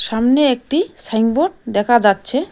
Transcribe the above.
সামনে একটি সাইনবোর্ড দেখা যাচ্ছে।